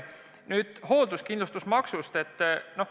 Nüüd hoolduskindlustusmaksust.